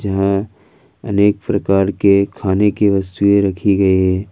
यहां अनेक प्रकार के खाने की वस्तुएं रखी गई है।